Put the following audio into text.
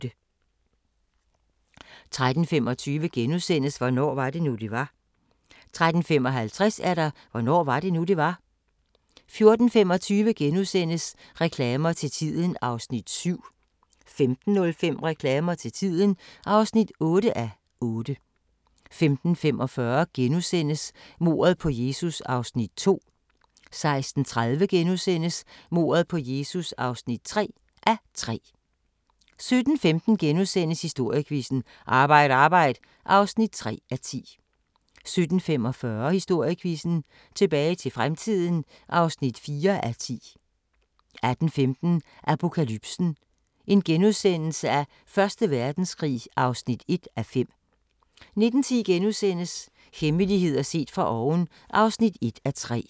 13:25: Hvornår var det nu, det var? * 13:55: Hvornår var det nu, det var? 14:25: Reklamer til tiden (7:8)* 15:05: Reklamer til tiden (8:8) 15:45: Mordet på Jesus (2:3)* 16:30: Mordet på Jesus (3:3)* 17:15: Historiequizzen: Arbejd Arbejd (3:10)* 17:45: Historiequizzen: Tilbage til fremtiden (4:10) 18:15: Apokalypsen: Første Verdenskrig (1:5)* 19:10: Hemmeligheder set fra oven (1:3)*